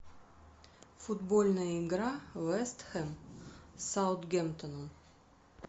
футбольная игра вест хэм с саутгемптоном